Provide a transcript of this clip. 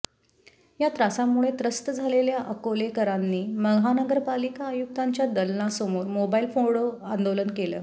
या त्रासामुळे त्रस्त झालेल्या अकोलेकरांनी महानगरपालिका आयुक्तांच्या दलनासमोर मोबाईल फोडो आंदोलन केलं